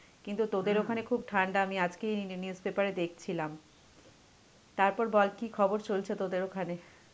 কিন্তু তোদের ওখানে খুব ঠান্ডা আমি আজকেই news paper এ দেখছিলাম. তারপর বল কি খবর চলছে তোদের ওখানে?